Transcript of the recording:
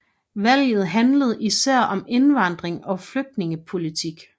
Valget handlede især om indvandring og flygtningepolitik